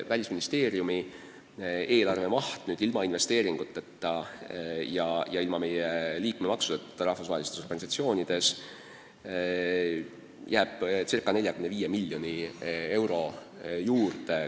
Välisministeeriumi eelarve maht ilma investeeringuteta ja ilma meie liikmemaksudeta rahvusvahelistes organisatsioonides jääb ca 45 miljoni euro piiresse.